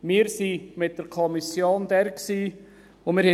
Wir waren mit der Kommission dort und durften